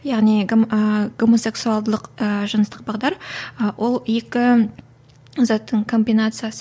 яғни ы гомосексуалдылық ы жыныстық бағдар ы ол екі заттың комбинациясы